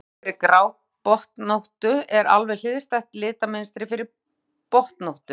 Litamynstur fyrir grábotnóttu er alveg hliðstætt litamynstri fyrir botnóttu.